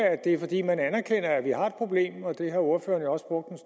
at det er fordi man anerkender at vi har et problem og det har ordføreren jo også brugt